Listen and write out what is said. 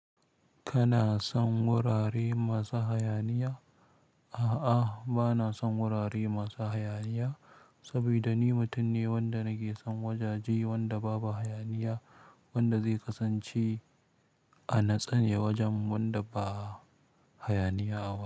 Kana son wurare masu hayaniya? A'a bana son wurare masu hayaniya sabida ni mutum ne wanda nakeson wajaje wanda babu hayaniya wanda zai kasance a natse ne wajen wanda ba hayaniya a.